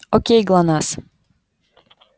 окей глонассс